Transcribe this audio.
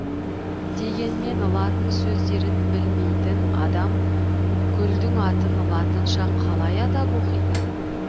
дегенмен латын сөздерін білмейтін адам гүлдің атын латынша қалай атап оқиды